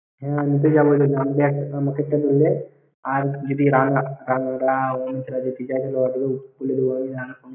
হ্যাঁ আমি তো যাবই ।